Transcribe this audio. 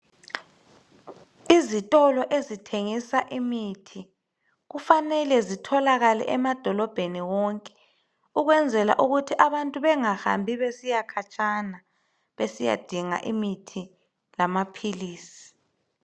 Izitolo ezithengisa imithi kufanele zitholakale emadolobheni wonke. Ukwenzela ukuthi abantu bengahambi besiyakhatshana. Besiyadinga imithi lamaphilisi.